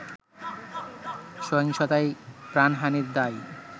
“সহিংসতায় প্রাণহানির দায়